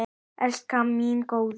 Elskan mín góða.